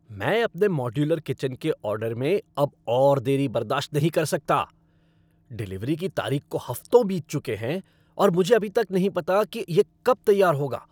मैं अपने modular kitchen के ऑर्डर में अब और देरी बर्दाश्त नहीं कर सकता। डिलीवरी की तारीख को हफ्तों बीत चुके हैं और मुझे अभी तक नहीं पता कि यह कब तैयार होगा।